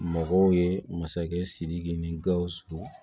Mɔgɔw ye masakɛ sidiki ni gawusu